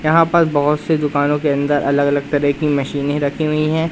यहां पर बहुत से दुकानों के अंदर अलग अलग तरह की मशीनें रखी हुई हैं।